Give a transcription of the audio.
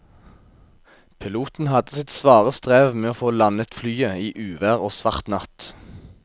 Piloten hadde sitt svare strev med å få landet flyet i uvær og svart natt.